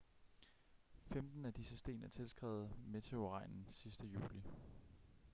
femten af disse sten er tilskrevet meteorregnen sidste juli